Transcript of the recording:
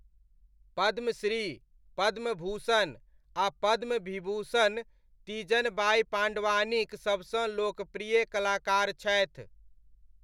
पद्मश्री, पद्मभूषण आ पद्मविभूषण तीजन बाइ पाण्डवानीक सबसँ लोकप्रिय कलाकार छथि।